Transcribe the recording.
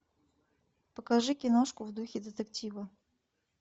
покажи киношку в духе детектива